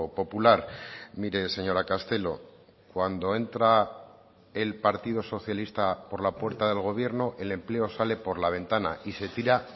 popular mire señora castelo cuando entra el partido socialista por la puerta del gobierno el empleo sale por la ventana y se tira